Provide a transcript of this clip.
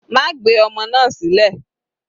Má gbé ọmọ náà sílẹ̀.